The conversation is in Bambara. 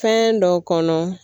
Fɛn dɔ kɔnɔ